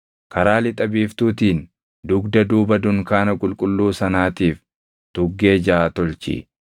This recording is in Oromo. Karaa lixa biiftuutiin, dugda duuba dunkaana qulqulluu sanaatiif tuggee jaʼa tolchi;